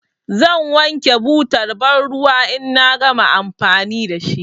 Zan wanke butar banruwa in na gama amfani da shi.